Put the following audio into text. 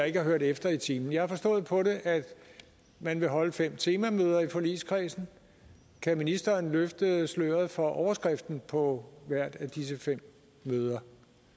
ikke har hørt efter i timen jeg har forstået på det at man vil holde fem temamøder i forligskredsen kan ministeren løfte sløret for overskriften på hvert af disse fem møder